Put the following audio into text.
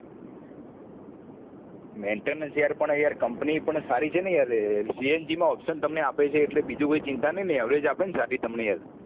maintenance યાર પણ યાર company પણ સારી છે ને યાર CNG માં option તમને આપે છે એટલે બીજું કોઈ ચિંતા નહિ ને average આપે સાથે તમને યાર